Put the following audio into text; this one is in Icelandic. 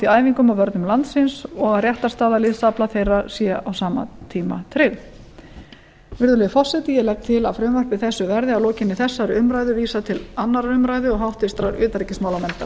æfingum og vörnum landsins og að réttarstaða liðsafla þeirra sé á sama tíma tryggð virðulegi forseti ég legg til að frumvarpi þessu verði að lokinni þessari umræðu vísað til annarrar umræðu og háttvirtrar utanríkismálanefndar